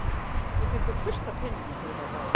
Við fengum fullt af peningum fyrir þá báða.